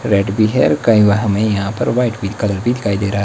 Red भी है। कई बाहर में यहां पर व्हाईट पिंक कलर भी दिखाई दे रहा--